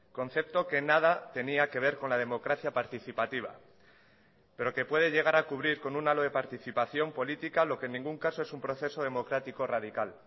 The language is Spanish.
concepto que nada tenía que ver con la democracia participativa pero que puede llegar a cubrir con un alo de participación política lo que en ningún caso es un proceso democrático radical